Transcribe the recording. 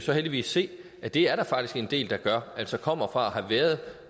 jo heldigvis se at det er der faktisk en del der gør altså kommer fra at have været